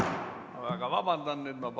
Väga vabandan!